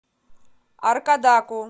аркадаку